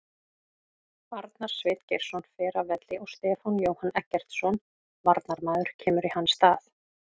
Arnar Sveinn Geirsson fer af velli og Stefán Jóhann Eggertsson varnarmaður kemur í hans stað.